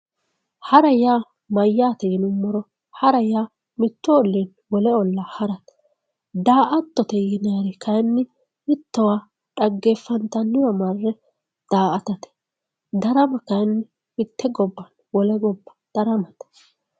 hara yaa mayyaate yinummoro hara yaa mittu olliinni wole ollaa harate daa"attote ynayri kayni mittowa dhaggeeffantanniwa marre daa"atate darama kayiinni mitte gobba wole gobba daramate